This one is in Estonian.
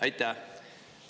Aitäh!